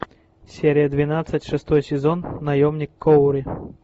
серия двенадцать шестой сезон наемник куорри